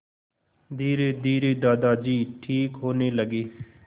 धीरेधीरे दादाजी ठीक होने लगे